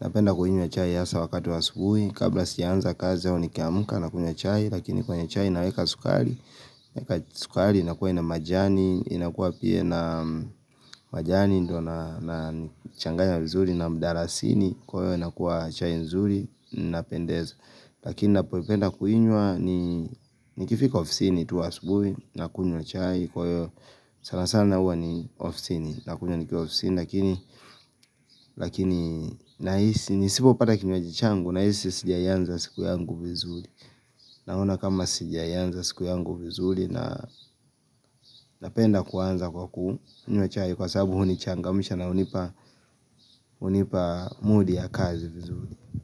napenda kunywa chai hasa wakati wa asubuhi Kabla sijaanza kazi au nikiamka nakunywa chai lakini kwenye chai naweka sukari Weka sukari inakuwa ina majani, inakuwa pia ina majani nddo nachanganya vizuri na mdarasini Kwa hiyo inakuwa chai nzuri, inapendeza Lakini napoipenda kuinywa ni nikifika ofisini tu asubuhi Nakunywa chai kwa hiyo sana sana huwa ni ofisini Nakunywa nikiwa ofisini Lakini nahisi Nisipopata kinywaji changu Nahisi sijaianza siku yangu vizuri Naona kama sijaianza siku yangu vizuri Nanapenda kuanza kwa kunywa chai sababu hunichangamsha na hunipa mudi ya kazi vizuri.